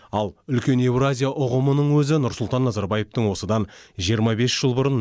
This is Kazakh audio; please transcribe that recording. ал үлкен еуразия ұғымының өзі нұрсұлтан назарбаевтың осыдан жиырма бес жыл бұрын